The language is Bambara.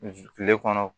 Kile kɔnɔ